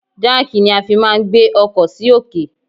Jáàkì ni a fi máà ń gbé ọkọ sì òkè.